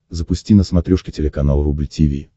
запусти на смотрешке телеканал рубль ти ви